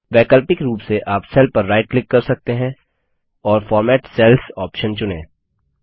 वैकल्पिक रूप से आप सेल पर राइट क्लिक कर सकते हैं और फॉर्मेट सेल्स ऑप्शन चुनें